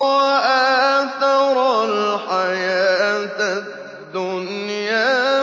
وَآثَرَ الْحَيَاةَ الدُّنْيَا